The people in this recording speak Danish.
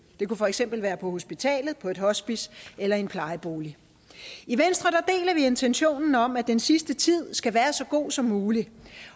det kunne for eksempel være på hospitalet på et hospice eller i en plejebolig i venstre deler vi intentionen om at den sidste tid skal være så god som muligt